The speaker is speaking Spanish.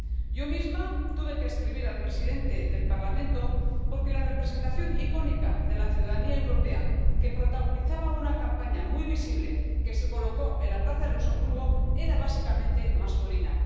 Yo misma tuve que escribir al presidente del Parlamento porque la representación icónica de la ciudadanía europea que protagonizaba una campaña muy visible, que se colocó en la plaza de Luxemburgo, era básicamente masculina.